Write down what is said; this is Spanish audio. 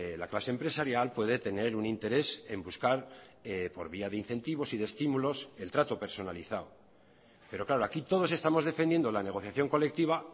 la clase empresarial puede tener un interés en buscar por vía de incentivos y de estímulos el trato personalizado pero claro aquí todos estamos defendiendo la negociación colectiva